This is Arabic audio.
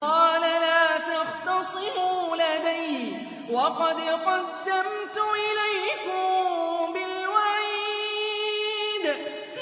قَالَ لَا تَخْتَصِمُوا لَدَيَّ وَقَدْ قَدَّمْتُ إِلَيْكُم بِالْوَعِيدِ